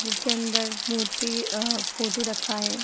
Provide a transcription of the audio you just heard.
जिसके अंदर मूर्ति यह फोटो रखा है।